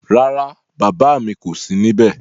Rárá, bàbá mi kò sí níbé